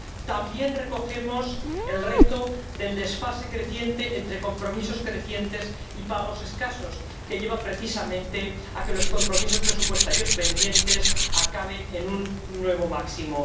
También recogemos el reto del desfase creciente entre compromisos crecientes y pagos escasos, que lleva precisamente a que los compromisos presupuestarios pendientes acaben en un nuevo máximo.